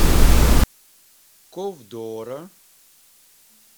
ковдора